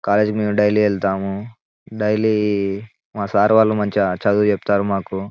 కాలేజీకి మేము డైలీ వెళ్తుము డైలీ మా సార్ వాళ్ళు మంచిగా చదువు చెప్తారు మాకు.